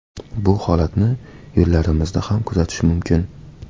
Bu holatni yo‘llarimizda ham kuzatish mumkin.